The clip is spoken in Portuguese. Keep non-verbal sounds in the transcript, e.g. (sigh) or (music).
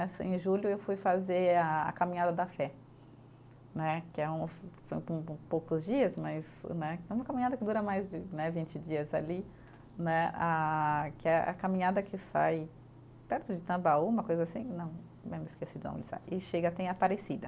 Assim em julho eu fui fazer a a caminhada da fé né, que é uma (unintelligible) poucos dias mas né é uma caminhada que dura mais de né, vinte dias ali né, ah que é a caminhada que sai perto de Tambaú, uma coisa assim, não eh me esqueci de onde sai, e chega até em Aparecida.